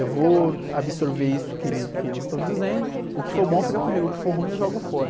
Eu vou absorver isso que ele, que eles estão dizendo, o que for bom fica comigo, o que for ruim eu jogo fora.